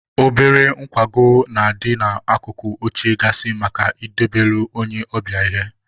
Obere nkwago na-adị n'akụkụ oche gaasị maka idobelu onye ọbịa ihe.